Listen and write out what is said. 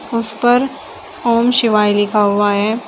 उस पर ओम शिवाय लिखा हुआ है।